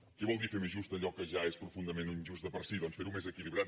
què vol dir fer més just allò que ja és profundament injust de per sí doncs fer ho més equilibrat